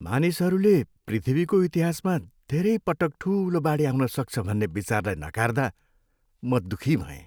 मानिसहरूले पृथ्वीको इतिहासमा धेरै पटक ठुलो बाढी आउन सक्छ भन्ने विचारलाई नकार्दा म दुःखी भएँ।